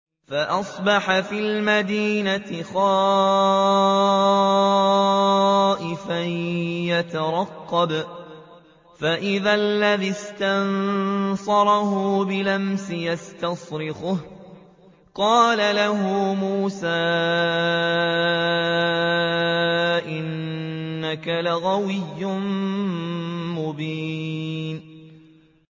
فَأَصْبَحَ فِي الْمَدِينَةِ خَائِفًا يَتَرَقَّبُ فَإِذَا الَّذِي اسْتَنصَرَهُ بِالْأَمْسِ يَسْتَصْرِخُهُ ۚ قَالَ لَهُ مُوسَىٰ إِنَّكَ لَغَوِيٌّ مُّبِينٌ